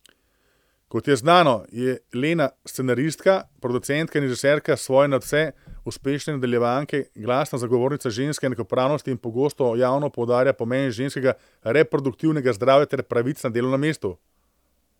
Kot je znano, je Lena scenaristka, producentka in režiserka svoje nadvse uspešne nadaljevanke, glasna zagovornica ženske enakopravnosti in pogosto javno poudarja pomen ženskega reproduktivnega zdravja ter pravic na delovnem mestu.